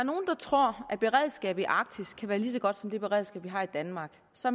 tror at beredskabet i arktis kan være lige så godt som det beredskab vi har i danmark så